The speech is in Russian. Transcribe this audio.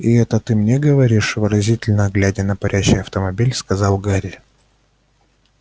и это ты мне говоришь выразительно глядя на парящий автомобиль сказал гарри